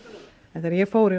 þegar ég fór í